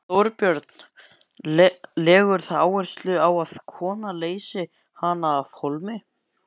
Þorbjörn: Leggurðu áherslu á að kona leysi hana af hólmi?